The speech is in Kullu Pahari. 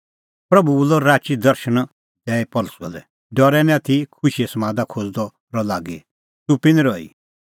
प्रभू बोलअ राची दर्शण दैई पल़सी लै डरै निं आथी खुशीए समादा खोज़दअ रह लागी च़ुप्पी निं रही